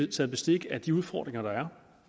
taget bestik af de udfordringer der er